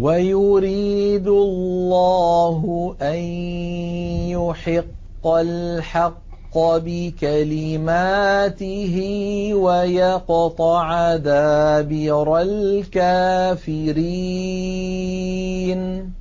وَيُرِيدُ اللَّهُ أَن يُحِقَّ الْحَقَّ بِكَلِمَاتِهِ وَيَقْطَعَ دَابِرَ الْكَافِرِينَ